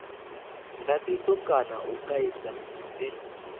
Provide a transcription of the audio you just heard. ndatiso kana u kaidza ndi